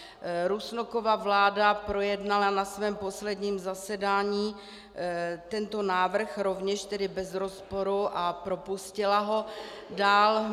Rusnokova vláda projednala na svém posledním zasedání tento návrh rovněž tedy bez rozporu a propustila ho dál.